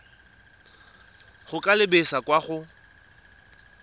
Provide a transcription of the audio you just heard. go ka lebisa kwa go